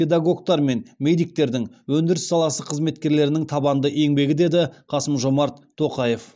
педагогтар мен медиктердің өндіріс саласы қызметкерлерінің табанды еңбегі деді қасым жомарт тоқаев